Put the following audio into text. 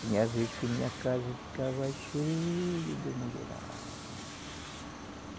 Tinha vezes que minha casa ficava cheia de mulherada.